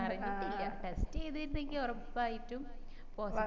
അറിഞ്ഞിട്ടില്ല test ചെയ്തിരുന്നേ ഉറപ്പായിട്ടും